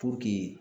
Puruke